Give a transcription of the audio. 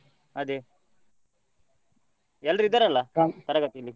ಅದೇ ಎಲ್ರೂ ಇದ್ದಾರಲ್ಲ ?